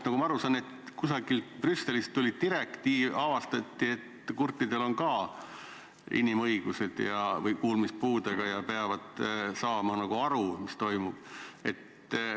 Nagu ma aru saan, kusagilt Brüsselist tuli direktiiv ja siis avastati, et kurtidel või kuulmispuudega inimestel on ka inimõigused ja nad peavad saama aru, mis toimub.